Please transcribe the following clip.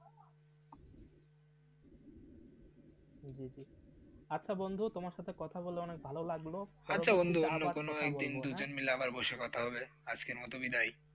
আচ্ছা বন্ধু তোমার সাথে কথা বলে আমাকে অনেক ভালো লাগলো, আচ্ছা বন্ধু আমরা কোন একদিন দুজন মিলে আবার বসে কথা হবে আজকে বিদায়.